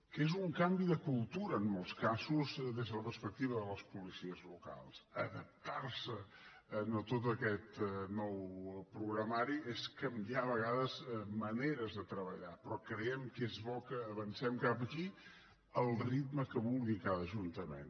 que és un canvi de cultura en molts casos des de la perspectiva de les policies locals adaptar se a tot aquest nou programari és canviar a vegades maneres de treballar però creiem que és bo que avancem cap aquí al ritme que vulgui cada ajuntament